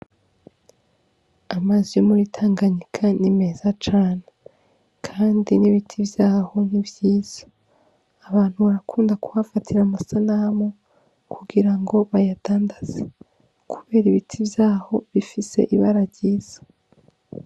Amazi yo muri Tanganyika ni meza cane kandi n'ibiti vyaho ni vyiza abantu barakunda kuhafatira amasanamu kugira ngo bayadandaza kubera ibiti vyaho bifise ibara ryiza.